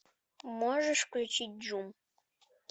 можешь включить джум